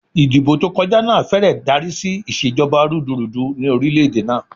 Ìdìbò tó kọjá náà fẹ́rẹ̀ darí sí ìṣèjọba rúdurùdu ni orílẹ̀ èdè náà.